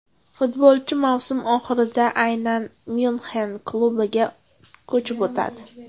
Futbolchi mavsum oxirida aynan Myunxen klubiga ko‘chib o‘tadi.